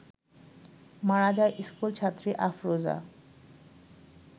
মারা যায় স্কুলছাত্রী আফরোজা